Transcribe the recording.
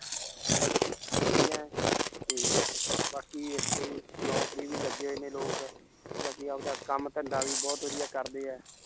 ਤੇ ਬਾਕੀ ਇੱਥੇ ਨੌਕਰੀ ਵੀ ਲੱਗੇ ਹੋਏ ਨੇ ਲੋਕ ਤੇ ਬਾਕੀ ਆਪਦਾ ਕੰਮ ਧੰਦਾ ਵੀ ਬਹੁਤ ਵਧੀਆ ਕਰਦੇ ਹੈ l